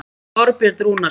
Þorbjörn Rúnarsson.